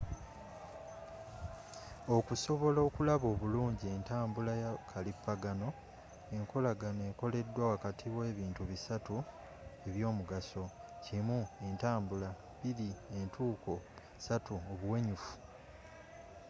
okusobola okulaba obulungi entambula ya kalipagano enkolagana ekoleddwa wakati w’ebintu bisatu eby’omugaso1entambula,2entuuko3obuwenyufu